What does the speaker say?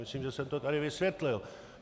Myslím, že jsem to tady vysvětlil.